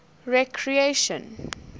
recreation